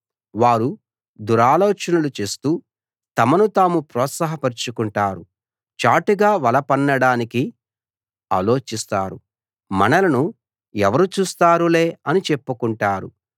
వారు దురాలోచనలు చేస్తూ తమను తాము ప్రోత్సాహ పరచుకుంటారు చాటుగా వల పన్నడానికి ఆలోచిస్తారు మనలను ఎవరు చూస్తారులే అని చెప్పుకుంటారు